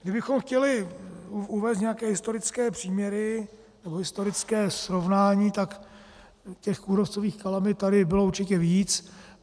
Kdybychom chtěli uvést nějaké historické příměry nebo historické srovnání, tak těch kůrovcových kalamit tady bylo určitě víc.